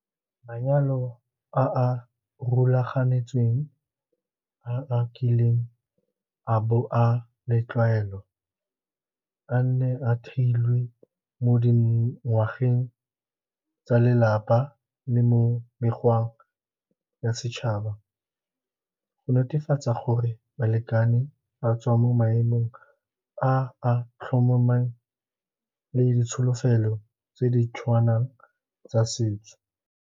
Manyalo a a rulaganetsweng a a kileng a bo a le ditlwaelo, a ne a theilwe mo dingwageng tsa lelapa le mo mekgweng ya setšhaba go netefatsa gore balekane ba tswa mo maemong a a tlhomameng le ditsholofelo tse di tshwanang tsa setso.